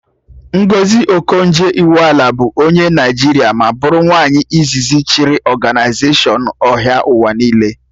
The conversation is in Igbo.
Ngọzi Okonjo Iweala bụ onye Naịjiria ma bụrụ nwaanyị izizi chịrị ọganaizashọn ahịa ụwa niile